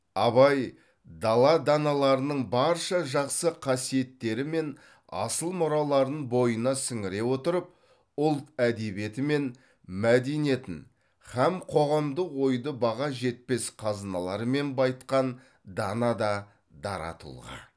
абай дала даналарының барша жақсы қасиеттері мен асыл мұраларын бойына сіңіре отырып ұлт әдебиеті мен мәдениетін һәм қоғамдық ойды баға жетпес қазыналармен байытқан дана да дара тұлға